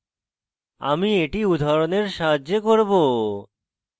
এটি উদাহরণের সাহায্যে করব